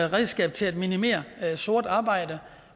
redskab til at minimere sort arbejde